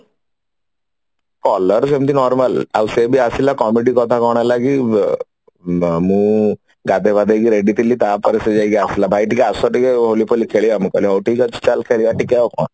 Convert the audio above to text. color ସେମିତେ normal ଆଉ ସେ ବି ଆସିଲା comedy କଥା କଣ ହେଲା କି ମୁଁ ଗାଧେୟ ପାଧେଇକି ready ଥିଲି ତାପରେ ସେ ଯାଇକି ଆସିଲା ଭାଇ ଟିକେ ଆସ ଟିକେ ହୋଲି ଫୋଲି ଖେଳିବା ମୁଁ କହିଲି ହଉ ଠିକ ଅଛି ଚାଲ ଖେଳିବା ଆଉ କଣ